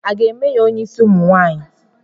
A ga-eme ya onyeisi ụmụ nwanyị?